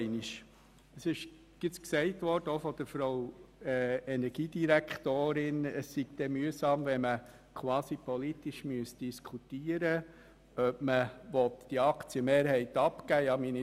Es ist auch von der Energiedirektorin gesagt worden, es sei mühsam, wenn man quasi politisch diskutieren müsse, ob man die Aktienmehrheit abgeben will.